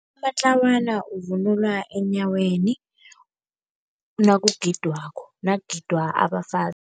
Amatlawana uvunulwa eenyaweni nakugidwako, nakugida abafazi.